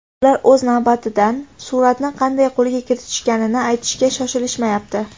Ular o‘z navbatidan suratni qanday qo‘lga kiritishganini aytishga shoshilishmayapti.